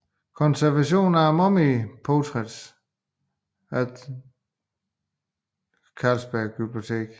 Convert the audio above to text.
Conservation of Mummy Portraits at the Ny Carlsberg Glyptotek